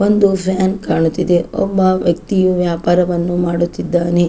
ಒಂದು ಫ್ಯಾನ್ ಕಾಣುತ್ತಿದೆ ಒಬ್ಬ ವ್ಯಕ್ತಿಯು ವ್ಯಾಪಾರವನ್ನು ಮಾಡುತ್ತಿದ್ದಾನೆ.